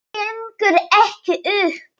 Það gengur ekki upp.